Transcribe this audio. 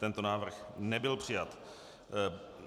Tento návrh nebyl přijat.